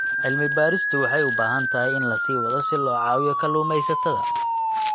Cilmi-baaristu waxay u baahan tahay in la sii wado si loo caawiyo kalluumaysatada.